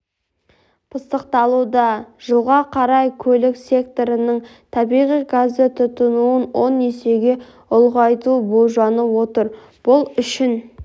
пысықталуда жылға қарай көлік секторының табиғи газды тұтынуын он есеге ұлғайту болжанып отыр бұл үшін